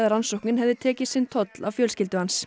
rannsóknin hefði tekið sinn toll af fjölskyldu hans